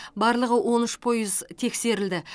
барлығы он үш пойыз тексерілді